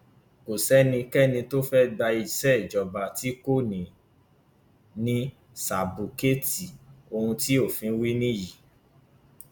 ọgágun olùṣègùn ọbànjọ ní kọmíṣánná àbí mínísítà fún iléeṣẹ òde yìí ọkan nínú àwọn alágbára nínú ìjọba gọwọn ni